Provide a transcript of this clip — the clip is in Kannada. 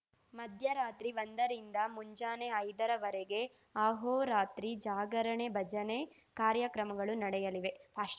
ಮಧ್ಯರಾತ್ರಿ ಒಂದರಿಂದ ಮುಂಜಾನೆ ಐದರವರೆಗೆ ಅಹೋರಾತ್ರಿ ಜಾಗರಣೆ ಭಜನೆ ಕಾರ್ಯಕ್ರಮಗಳು ನಡೆಯಲಿವೆ ಪಾಶ್